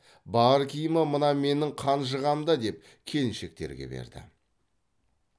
бар киімі мына менің қанжығамда деп келіншектерге берді